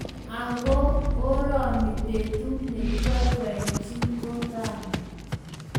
Ak ko oroni betut nekibaibaji ko rani.